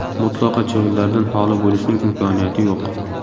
Mutlaqo chivinlardan holi bo‘lishning imkoniyati yo‘q.